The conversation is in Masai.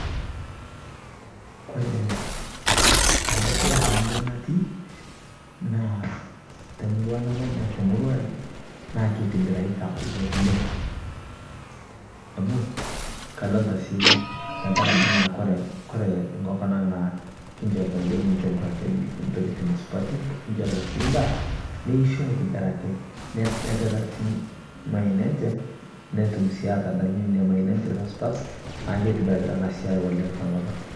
kore anaa siai te murua natii naa te murua namanyaa te murua aai, naa keitibiraitaa oo leng, amuu kadolitaa sii tankarakee naa kore nkokon aang naa kinchoritaa yoo duake ntokitin supati kinchoritaa sii ndaa neishoo aitibirakii nepetaa sii mayeeni enchee notum sii atadanyuu nenia mayeeni enche te supat. naaku keitibiraritaa anaa si te nkopang.